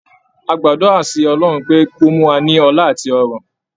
A gbàdúrà sí Ọlọ́run pé kí ó mú wa ní ọlá àti ọrọ̀.